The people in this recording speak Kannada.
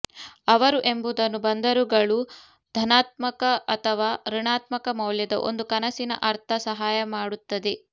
ಅವರು ಎಂಬುದನ್ನು ಬಂದರುಗಳು ಧನಾತ್ಮಕ ಅಥವಾ ಋಣಾತ್ಮಕ ಮೌಲ್ಯದ ಒಂದು ಕನಸಿನ ಅರ್ಥ ಸಹಾಯ ಮಾಡುತ್ತದೆ